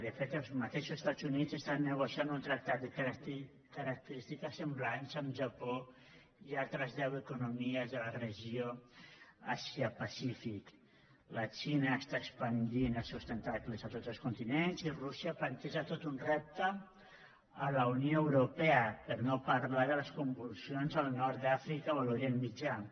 de fet els mateixos estats units estan negociant un tractat de característiques semblants amb japó i altres deu economies de la regió àsia pacífic la xina està expandint els seus tentacles a tots els continents i rússia planteja tot un repte a la unió europea per no parlar de les convulsions al nord d’àfrica o a l’orient mitjà